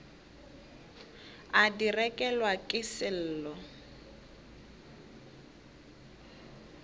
a di rekelwa ke sello